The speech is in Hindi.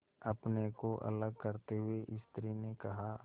अपने को अलग करते हुए स्त्री ने कहा